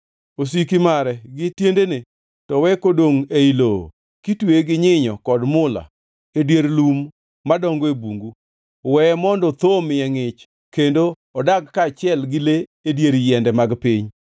Osiki mare gi tiendene to we kodongʼ ei lowo, kitweye gi nyinyo kod mula, e dier lum madongo e bungu. “ ‘Weye mondo thoo omiye ngʼich, kendo odag kaachiel gi le e dier yiende mag piny.